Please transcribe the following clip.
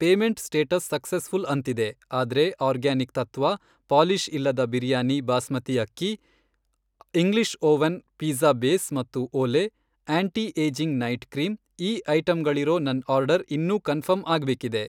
Payment status successful ಅಂತಿದೆ, ಆದ್ರೆ organic ತತ್ತ್ವ, ಪಾಲಿಷ್ ಇಲ್ಲದ ಬಿರಿಯಾನಿ ಬಾಸ್ಮತಿ ಅಕ್ಕಿ, ಇಂಗ್ಲಿಷ್ ಒವನ್ ಪಿಜ಼್ಜಾ ಬೇಸ್ ಮತ್ತು ಓಲೆ, ಆಂಟಿ ಏಜಿಂಗ್ ನೈಟ್ ಕ್ರೀಂ, ಈ ಐಟಂಗಳಿರೋ ನನ್ ಆರ್ಡರ್ ಇನ್ನೂ ಕನ್ಫರ್ಮ್ ಆಗ್ಬೇಕಿದೆ.